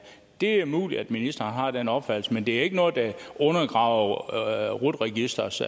det er muligt at ministeren har den opfattelse men det er ikke noget der undergraver rut registerets